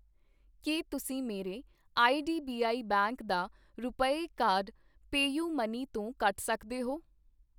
ਕੀ ਤੁਸੀਂਂ ਮੇਰੇ IDBI bank ਦਾ ਰੁਪਏ ਕਾਰਡ ਪੇਯੁਮਨੀ ਤੋਂ ਕੱਟ ਸਕਦੇ ਹੋ ?